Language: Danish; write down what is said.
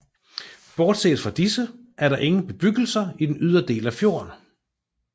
Bortset fra disse er der ingen bebyggelser i den ydre del af fjorden